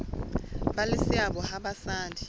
ba le seabo ha basadi